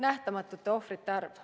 ... nähtamatute ohvrite arv.